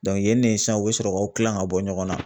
yen de sisan u be sɔrɔ k'u kilan ka bɔ ɲɔgɔn na.